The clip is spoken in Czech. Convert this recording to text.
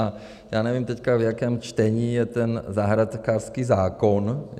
A já nevím teďka, v jakém čtení je ten zahrádkářský zákon.